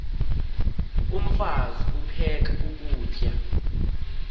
umfaz aphek ukutya